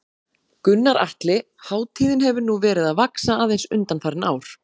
Gunnar Atli: Hátíðin hefur nú verið að vaxa aðeins undanfarin ár?